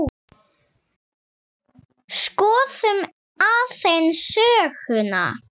Skoðum aðeins söguna.